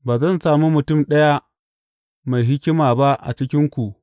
Ba zan sami mutum ɗaya mai hikima ba a cikinku.